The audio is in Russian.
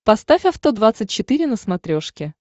поставь авто двадцать четыре на смотрешке